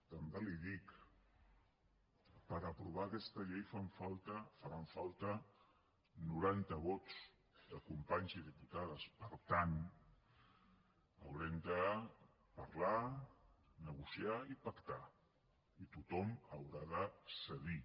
també li dic per aprovar aquesta llei fan falta faran falta noranta vots de companys i diputades per tant haurem de parlar negociar i pactar i tothom haurà de cedir